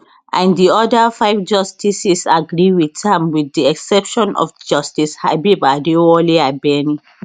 and di oda five justices agree wit am wit di exception of justice habeeb adewale abeni